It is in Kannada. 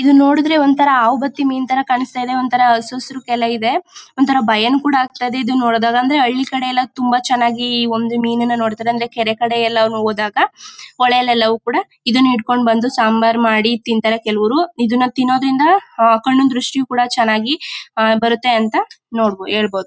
ಇದು ನೋಡಿದ್ರೆ ಒಂಥರಾ ಹಾವ್ ಬತ್ತಿ ಮೀನ್ ತರ ಕಾಣಿಸ್ತಿದೆ ಒಂಥರಾ ಹಸು ಹಸ್ರುಕ್ಕೆಲ್ಲ ಇದೆ ಒಂಥರಾ ಭಯನೂ ಕೂಡ ಆಗತಿದೆ ಇದನ್ ನೋಡಿದಾಗ ಅಂದ್ರೆ ಹಳ್ಳಿ ಕಡೆ ಎಲ್ಲಾ ತುಂಬಾ ಚೆನ್ನಾಗಿ ಒಂದೇ ಮೀನಿನ ನೋಡತಾರೆ ಅಂದ್ರೆ ಕೆರೆ ಕಡೆ ಎಲ್ಲಾ ಹೋದಾಗ ಹೊಲೆಯಲ್ಲೆಲವು ಕೂಡ ಇದನ್ನ ಹಿಡ್ಕೊಂಡು ಬಂದು ಸಾಂಬಾರ್ ಮಾಡಿ ತಿಂತಾರೆ ಕೆಲವ್ರು ಇದನ್ನ ತಿನ್ನೋದ್ರಿಂದ ಕಣ್ಣಿನ ದೃಷ್ಟಿ ಕೂಡ ಚೆನ್ನಾಗಿ ಬರುತ್ತೆ ಅಂತ ಹೇಳ್ಬಹುದು.